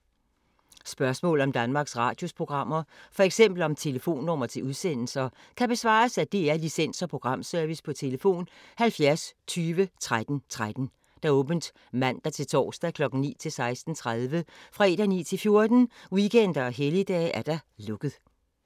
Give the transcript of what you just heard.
Spørgsmål om Danmarks Radios programmer, f.eks. om telefonnumre til udsendelser, kan besvares af DR Licens- og Programservice: tlf. 70 20 13 13, åbent mandag-torsdag 9.00-16.30, fredag 9.00-14.00, weekender og helligdage: lukket.